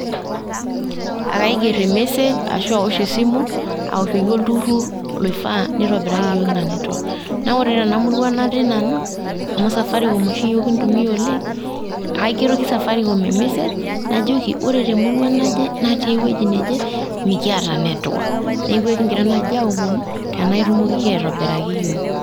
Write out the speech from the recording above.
Akaigerr imessage ashu awosh esimu, awoshoki olturrur loifaa nitobiraki yiook ina netwak. Na ore tenamurua natii nanu, amu safaricom oshi yiook kintumia oleng', kaigeroki safaricom ormessage , najoki ore temurua naje natii ewueji neje, mikiata netwak. Neeku ekigira naaji aomonu tenaa itumokiki aitobiraki yiook.